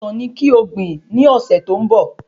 Ọsán ni ko gbìn ní ọ̀sẹ̀ tó ń bọ